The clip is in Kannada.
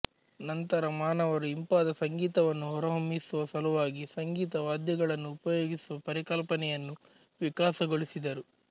ನಂತರ ಮಾನವರು ಇಂಪಾದ ಸಂಗೀತವನ್ನು ಹೊರಹೊಮ್ಮಿಸುವ ಸಲುವಾಗಿ ಸಂಗೀತ ವಾದ್ಯಗಳನ್ನು ಉಪಯೋಗಿಸುವ ಪರಿಕಲ್ಪನೆಯನ್ನು ವಿಕಾಸಗೊಳಿಸಿದರು